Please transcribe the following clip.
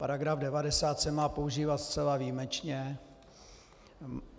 Paragraf 90 se má používat zcela výjimečně.